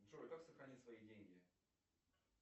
джой как сохранить свои деньги